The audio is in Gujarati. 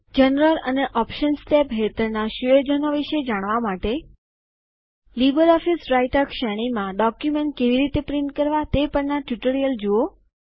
જનરલ અને ઓપ્શન્સ ટેબ હેઠળના સુયોજનો વિશે જાણવા માટે લીબરઓફીસ રાઈટર શ્રેણીમાં ડોક્યુમેન્ટ કેવી રીતે છાપવા તે પરના ટ્યુટોરીયલ જુઓ